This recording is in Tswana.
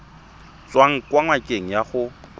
tswang kwa ngakeng ya gago